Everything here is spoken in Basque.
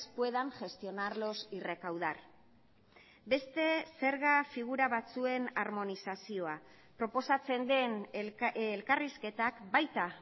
puedan gestionarlos y recaudar beste zerga figura batzuen armonizazioa proposatzen den elkarrizketak baita